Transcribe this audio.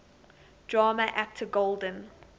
drama actor golden